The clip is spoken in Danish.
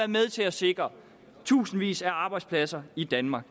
med til at sikre tusindvis af arbejdspladser i danmark